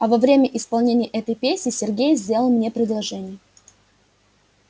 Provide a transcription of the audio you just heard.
а во время исполнения этой песни сергей сделал мне предложение